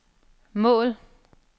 mål